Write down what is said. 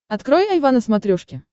открой айва на смотрешке